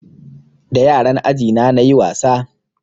Da yaran aji na nayi wasa